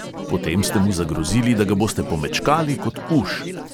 Potem ste mu zagrozili, da ga boste pomečkali kot uš.